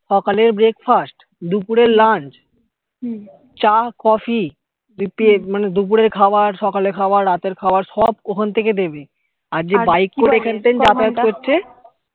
সকালের brake fast দুপুরের lunch চা কফি দিয়ে পেট মানে দুপুরে খাওয়ার সকালে খাওয়ার রাতের খাওয়ার সব ওখান থেকে দেবে আর যে bike করে এখান থেকে যাতায়াত করছে